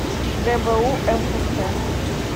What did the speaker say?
гбу мфц